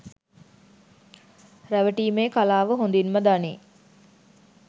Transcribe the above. රැවටීමේ කලාව හොඳින්ම දනී